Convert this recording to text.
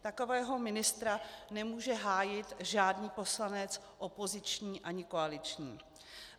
Takového ministra nemůže hájit žádný poslanec, opoziční ani koaliční.